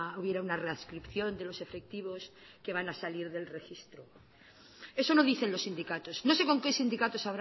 hubiera una readscripción de los efectivos que van a salir del registro eso no dicen los sindicatos no sé con qué sindicatos